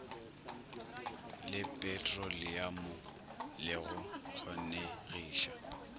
le petroliamo le go kgonegiša